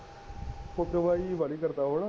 ਫੁਕਰੀਬਾਜੀ ਬਾਲੀ ਕਰਦਾ ਹੈ ਉਹ ਨਾ